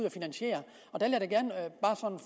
og finansiere